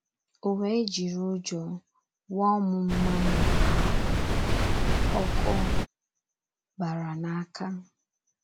O wee jiri ụjọ wụọ m mmanụ ahụ, ọkụ bara n’aka.